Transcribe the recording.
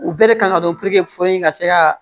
U bɛɛ de kan ka dɔn in ka se ka